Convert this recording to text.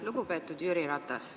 Lugupeetud Jüri Ratas!